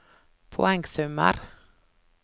poengsummer